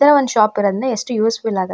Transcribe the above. ಈ ತರ ಒಂದು ಶಾಪ್ ಇರೋದ್ರಿಂದ ಎಷ್ಟ್ ಯೂಸ್ಫುಲ್ ಆಗತ್ತೆ --